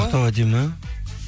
ақтау әдемі